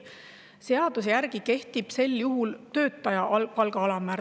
Seaduse järgi kehtib sel juhul töötaja palga alammäär.